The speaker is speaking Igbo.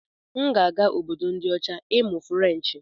M ga-aga Obodo ndi ocha ịmụ Ferenchi.